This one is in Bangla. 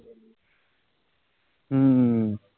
উহ